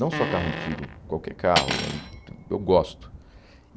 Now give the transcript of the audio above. Não só carro antigo, qualquer carro, eu gosto.